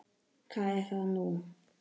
Hvað er það nú?